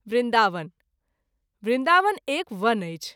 वृन्दावन :- वृन्दावन एक वन अछि।